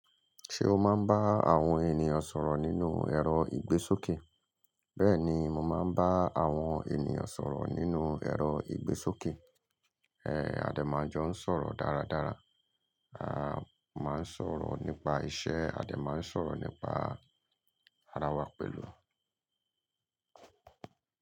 Ṣé o máa ń bá àwọn ènìyàn sọ̀rọ̀ nínú ẹ̀rọ ìgbésókè? Bẹ́ẹ̀ni, mo máa ń bá àwọn ènìyàn sọ̀rọ̀ nínú ẹ̀rọ ìgbésókè. Ẹ̀ẹ̀, Adé máa ń jọ ń sọ̀rọ̀ dáradára. A máa ń sọ̀rọ̀ nípa iṣẹ́, a de máa ń sọ̀rọ̀ nípa ara wa pẹ̀lú.